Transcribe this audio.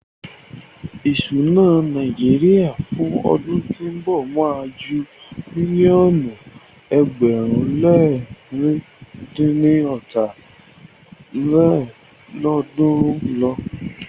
Ìsúná Nàíjíríà fún ọdún tí ó ń bọ̀ má a ju mílíọ̀nù ẹgbẹ̀rún le lẹ̀rin dín ní ọ́ta lélọ́ọ̀dúnrún lọ.